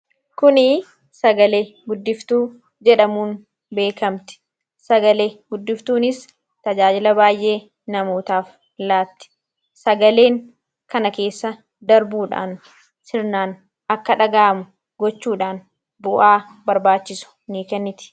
Kunii sagale-guddiftuu jedhamuun beekamti. Sagale-guddiftuunis tajaajila baay'ee namootaaf laatti. Sagaleen kana keessa darbuudhaan sirnaan akka dhaga'amu gochuudhaan bu'aa barbaachisu ni kenniti.